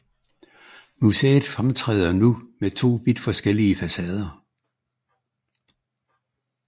Museet fremtræder nu med to vidt forskellige facader